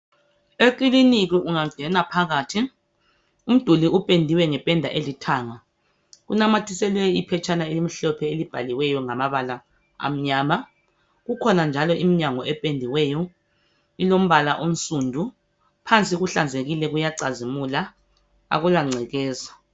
Ekilinika ungangena phakathi umduli upendiwe ngependa elithanga. Unamathiseliwe iphetshana elimhlophe elibhaliweyo ngamabala amnyama. Kukhona njalo iminyango ependiweyo, ilombala onsundu. Phansi kuhlanzekile kuyacazimula, akula ngcekeza.